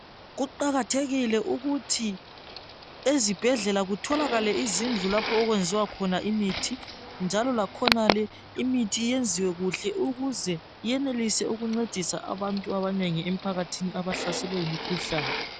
Kuqakathekile ukuthi ezibhedlela kutholakale izindlu lapho okuyenziwa khona imithi njalo lakhonale imithi iyenziwe kuhle ukuze iyenelise ukuncedisa abantu abanengi emphakathini abahlaselwe yimikhuhlane.